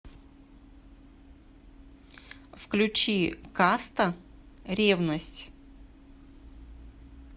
включи каста ревность